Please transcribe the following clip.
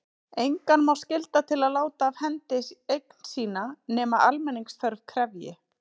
Engan má skylda til að láta af hendi eign sína nema almenningsþörf krefji.